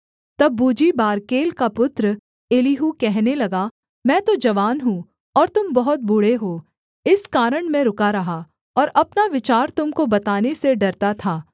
तब Buzite Barachel का पुत्र एलीहू कहने लगा मैं तो जवान हूँ और तुम बहुत बूढ़े हो इस कारण मैं रुका रहा और अपना विचार तुम को बताने से डरता था